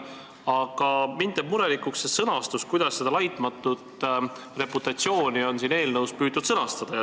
Aga mind teeb murelikuks see, kuidas seda laitmatut reputatsiooni on eelnõus püütud sõnastada.